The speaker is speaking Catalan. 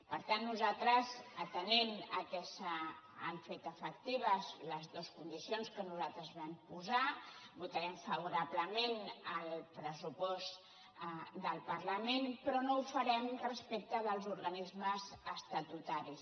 per tant nosaltres atenent al fet que s’han fet efectives les dues condicions que nosaltres vam posar votarem favorablement el pressupost del parlament però no ho farem respecte dels organismes estatutaris